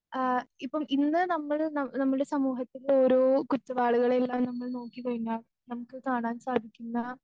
ആ ഇപ്പം ഇന്ന് നമ്മള് ന നമ്മൾടെ സമൂഹത്തില് ഒരോ കുറ്റവാളികളെയും നമ്മൾ നോക്കിക്കഴിഞ്ഞാൽ നമുക്ക് കാണാൻ സാധിക്കുന്ന